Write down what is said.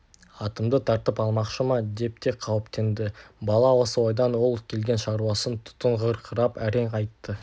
атымды тартып алмақшы ма деп те қауіптенді бала осы ойдан ол келген шаруасын тұтығыңқырап әрең айтты